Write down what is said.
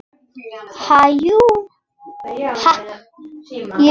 Ha, jú.